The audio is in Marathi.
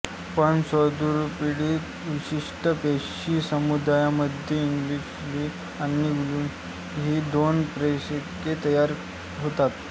पण स्वादुपिंडातील विशिष्ट पेशी समूहामध्ये इन्शुलिन आणि ग्लूकॅगॉन ही दोन संप्रेरके तयार होतात